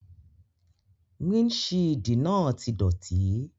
Windṣiidi naa ti dọti.